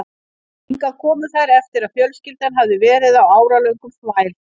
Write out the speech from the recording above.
Hingað komu þær eftir að fjölskyldan hafði verið á áralöngum þvæl